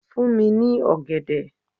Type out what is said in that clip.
Fún mi ní ọ̀gẹ̀dẹ̀.